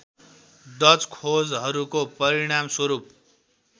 Dutch खोजहरूको परिणामस्वरूप